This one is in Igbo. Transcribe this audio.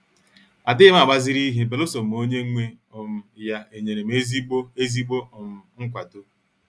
Adighim agbaziri ihe beluso ma onye nwe um ya enyere m ezigbo ezigbo um nkwado.